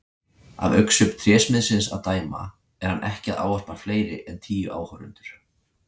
Af augnsvip trésmiðsins að dæma er hann ekki að ávarpa fleiri en tíu áhorfendur.